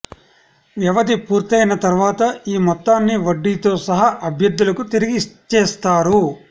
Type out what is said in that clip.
వ్యవధి పూర్తయిన తర్వాత ఈ మొత్తాన్ని వడ్డీతో సహా అభ్యర్థులకు తిరిగి ఇచ్చేస్తారు